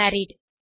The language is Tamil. மேரிட்